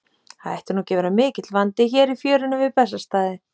Það ætti nú ekki að vera mikill vandi hér í fjörunni við Bessastaði.